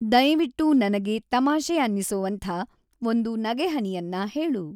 ದಯವಿಟ್ಟು ನನಗೆ ತಮಾಷೆ ಅನ್ನಿಸೊವಂಥಾ ಒಂದು ನಗೆಹನಿಯನ್ನ ಹೇಳು.